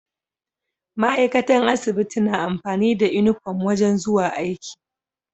Ma'aikatan asibiti na amfani da inufom wajan zuwa aiki